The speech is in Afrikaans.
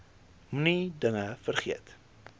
moenie dinge vergeet